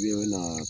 U ye na